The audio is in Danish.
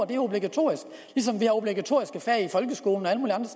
det er obligatorisk ligesom vi har obligatoriske fag i folkeskolen